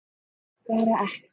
Þorði bara ekki.